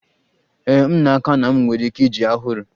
Ee, m n'aka na m nwere ike iji a hụrụ.